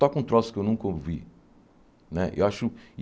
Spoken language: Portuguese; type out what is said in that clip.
Toca um troço que eu nunca ouvi. Né eu acho